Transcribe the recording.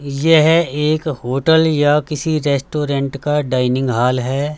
यह एक होटल या किसी रेस्टोरेंट का डाइनिंग हॉल है।